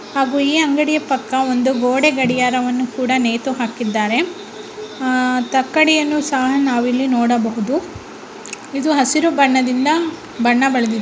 ಹಾಗು ಈ ಅಂಗಡಿಯ ಪಕ್ಕ ಒಂದು ಗೋಡೆ ಗಡಿಯಾರವನ್ನು ನೇತು ಹಾಕಿದ್ದಾರೆ ಆಹ್ಹ್ ತಕ್ಕಡಿಯನ್ನು ನಾವಿಲ್ಲಿ ನೋಡಬಹುದು ಇದು ಹಸಿರು ಬಣ್ಣದಿಂದ ಬಣ್ಣ ಬಳಿದಿದ್ದಾರೆ.